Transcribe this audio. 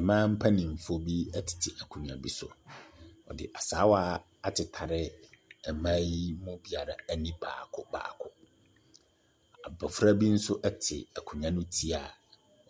Mmaa mpanimfoɔ bi tete akonnwa bi so. Wɔde asaawa atetare mmaa yi biara ani baako baako. Abofra bi nso te akonnwa no ti a